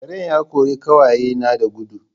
Karen ya ƙori ƙawaye na da dugu